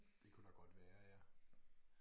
Det kunne der godt være ja